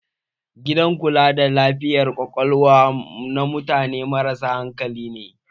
Gidan kula da lafiyar Ƙwaƙwalwa na mutane marasa hankali ne.